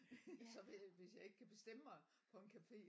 Så hvis jeg ikke kan bestemme mig på en cafe